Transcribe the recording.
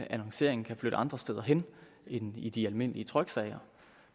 at annonceringen kan flytte andre steder hen end i de almindelige tryksager